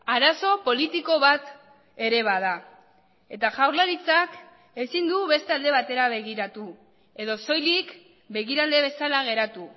arazo politiko bat ere bada eta jaurlaritzak ezin du beste alde batera begiratu edo soilik begirale bezala geratu